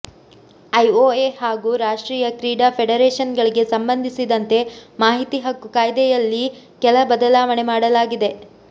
IOA ಹಾಗೂ ರಾಷ್ಟ್ರೀಯ ಕ್ರೀಡಾ ಫೆಡರೇಷನ್ಗಳಿಗೆ ಸಂಬಂಧಿಸಿದಂತೆ ಮಾಹಿತಿ ಹಕ್ಕು ಕಾಯ್ದೆಯಲ್ಲಿ ಕೆಲ ಬದಲಾವಣೆ ಮಾಡಲಾಗಿದೆ